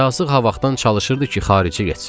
Yazıq ha vaxtdan çalışırdı ki, xaricə getsin.